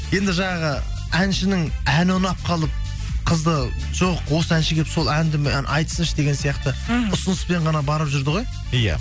енді жаңағы әншінің әні ұнап қалып қызды жоқ осы әнші келіп сол әнді айтсыншы деген сияқты мхм ұсыныспен ғана барып жүрді ғой иә